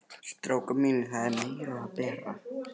STRÁKAR MÍNIR, ÞAÐ ER MEIRA AÐ BERA.